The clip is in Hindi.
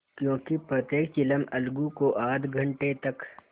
क्योंकि प्रत्येक चिलम अलगू को आध घंटे तक